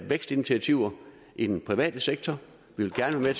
vækstinitiativer i den private sektor vi vil gerne af